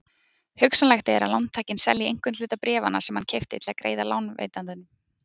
Hugsanlegt er að lántakinn selji einhvern hluta bréfanna sem hann keypti til að greiða lánveitandanum.